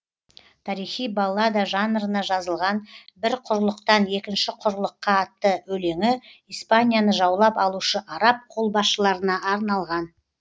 тарихи баллада жанырына жазылған бір құрлықтан екінші құрлыққа атты өлеңі испанияны жаулап алушы араб қолбасшыларына арналған